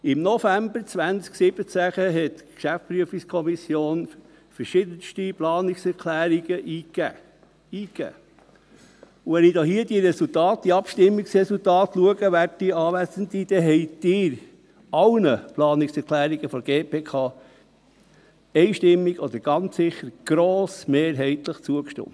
Im November 2017 reichte die GPK verschiedenste Planungserklärungen ein, und wenn ich die Abstimmungsresultate betrachte, werte Anwesende, dann stimmten Sie allen Planungserklärungen der GPK einstimmig oder ganz sicher grossmehrheitlich zu.